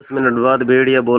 दस मिनट बाद भेड़िया बोला